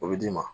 O bɛ d'i ma